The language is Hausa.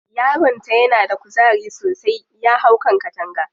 Yaron ta na da kuzari sosai, ya hau kan takanga.